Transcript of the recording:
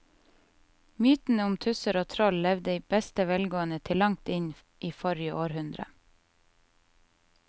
Mytene om tusser og troll levde i beste velgående til langt inn i forrige århundre.